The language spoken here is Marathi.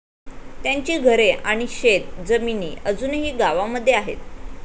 त्यांची घरे आणि शेत जमिनी अजूनही गावामध्ये आहेत.